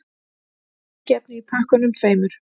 Sprengiefni í pökkunum tveimur